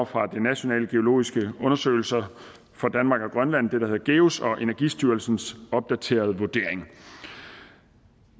fra de nationale geologiske undersøgelser for danmark og grønland det der hedder geus og energistyrelsens opdaterede vurdering